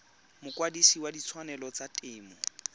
mokwadise wa ditshwanelo tsa temo